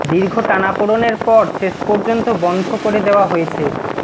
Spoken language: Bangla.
দীর্ঘ টানাপড়েনের পর শেষ পর্যন্ত বন্ধ করে দেওয়া হয়েছে